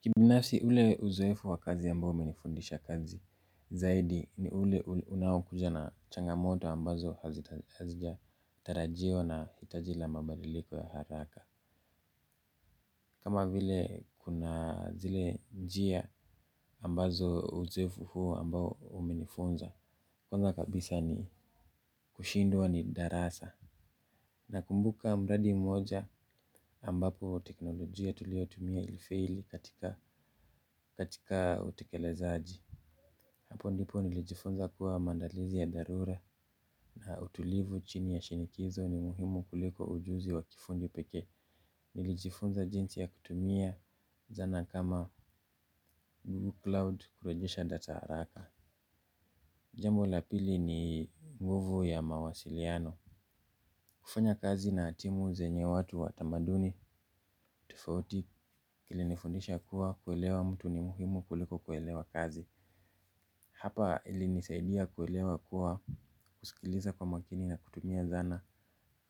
Kibinafsi ule uzoefu wa kazi ambao umenifundisha kazi zaidi ni ule unaokuja na changamoto ambazo hazijatarajiwa na hitaji la mabaliliko ya haraka. Kama vile kuna zile njia ambazo uzoefu huu ambao umenifunza. Kwanza kabisa ni kushindwa ni darasa. Nakumbuka mradi mmoja ambapo teknolojia tuliyotumia ilifeli katika utekelezaji. Hapo ndipo nilijifunza kuwa maandalizi ya dharura na utulivu chini ya shinikizo ni muhimu kuliko ujuzi wa kifundi pekee. Nilijifunza jinsi ya kutumia zana kama 'Google Cloud' kurejesha data haraka. Jambo la pili ni nguvu ya mawasiliano. Kufanya kazi na timu zenye watu wa tamaduni tufauti. Ilinifundisha kuwa kuelewa mtu ni muhimu kuliko kuelewa kazi. Hapa ilinisaidia kuelewa kuwa, kusikiliza kwa makini na kutumia zana